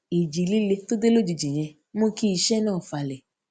ìjì líle tó dé lójijì yẹn mú kí iṣé náà falè